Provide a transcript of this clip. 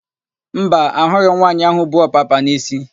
Mba, ahụghị m nwaanyị áhụ̀ bu ọpapa n'isi.